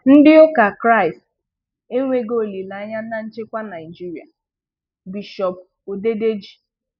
Ndị ụka K̀ristì enweghi olílèanya na nchekwa Naịjirịa – Bishop Odedeji.